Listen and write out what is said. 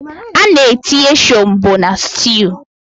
Ana-etinye shombọ na styuu.